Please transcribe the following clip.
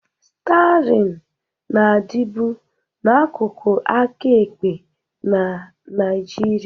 Stiarịn na-adịbu n'akụkụ aka ekpe na Nigeria